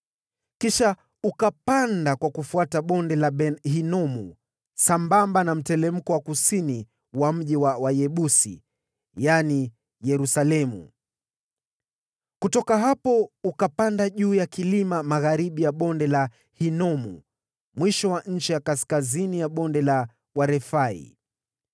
Kisha ukapanda kwa kufuata Bonde la Ben-Hinomu sambamba na mteremko wa kusini wa mji mkubwa wa Wayebusi (yaani Yerusalemu). Kutoka hapo ukapanda juu ya kilima magharibi ya Bonde la Hinomu mwisho wa ncha ya kaskazini mwa Bonde la Warefai.